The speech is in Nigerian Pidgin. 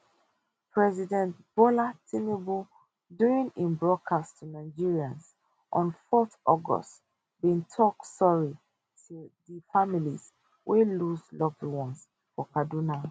president bola tinubu during im broadcast to nigerians on 4 august bin tok sorry ti di families wey lose loved ones for kaduna